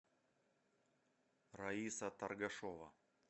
раиса торгашева